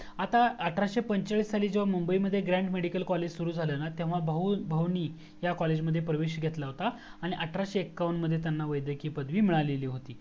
आता अठराशे पंचेचाळीस जेव्हा मुंबई मध्ये ग्रँड मेडिकल कॉलेज सुरू झाल न तेव्हा भाऊ भाऊ ने प्रवेश घेतला होता आणि अठराशे एक्कावण मध्ये त्यांना व्येदकीय पदवी मिळालेली होती